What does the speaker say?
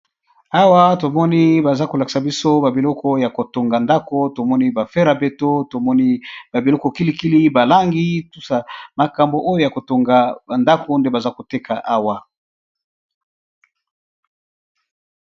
Awa tomoni baza kolakisa biso ba biloko ya kotonga ndaku , tomoni ba fer à béton tomoni ba biloko kilikili ba langi ,biloko ya kotonga ndaku nde bazolakisa biso.